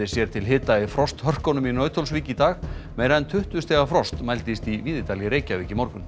sér til hita í frosthörkunum í Nauthólsvík í dag meira en tuttugu stiga frost mældist í Víðidal í Reykjavík í morgun